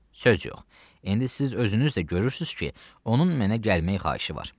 Söz yox, indi siz özünüz də görürsüz ki, onun mənə gəlmək xahişi var.